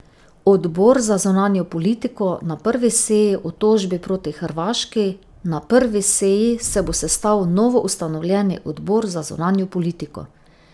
Odbor za zunanjo politiko na prvi seji o tožbi proti Hrvaški Na prvi seji se bo sestal novoustanovljeni odbor za zunanjo politiko.